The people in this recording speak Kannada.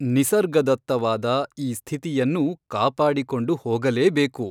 ನಿಸರ್ಗದತ್ತವಾದ ಈ ಸ್ಥಿತಿಯನ್ನು ಕಾಪಾಡಿಕೊಂಡು ಹೋಗಲೇಬೇಕು.